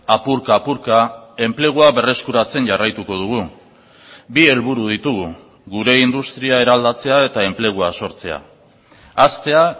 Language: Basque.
apurka apurka enplegua berreskuratzen jarraituko dugu bi helburu ditugu gure industria eraldatzea eta enplegua sortzea haztea